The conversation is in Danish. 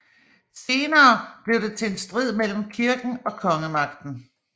Senere blev det til en strid mellem kirken og kongemagten